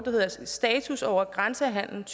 hedder status over grænsehandel